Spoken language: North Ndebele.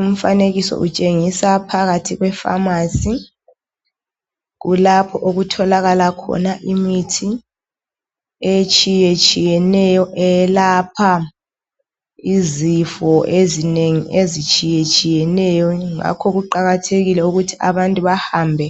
Umfanekiso utshengisa phakathi kwefamasi kulapho okutholakala khona imithi etshiyeneyo eyelapha izifo ezinengi ezitshiyeneyo ngakho kuqakathekile ukuthi abantu hambe